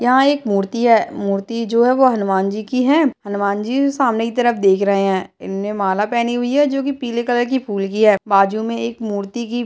यहाँ एक मूर्ति है मूर्ति जो है वो हनुमान जी की है हनुमान जी सामने की तरफ देख रहे हैं इनने माला पहनी हुई है जो कि पीले कलर की फूल की है बाजू में एक मूर्ति की --